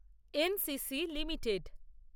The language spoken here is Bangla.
NCC limited